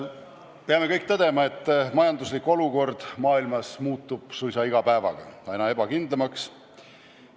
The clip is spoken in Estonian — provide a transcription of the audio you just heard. Peame kõik tõdema, et majanduslik olukord maailmas muutub suisa iga päevaga aina ebakindlamaks.